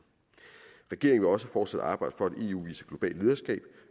regeringen vil også fortsat arbejde for at eu udviser globalt lederskab